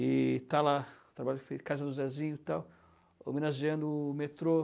E está lá, casa do Zezinho e tal, homenageando o metrô.